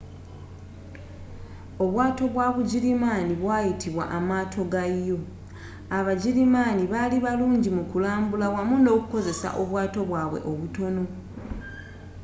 obwaato bwa bugirimaani bwayitibwa amaato ga u abagirimaani bali barungi mu kulambula wamu nokukozesa obwato bwabwe obutono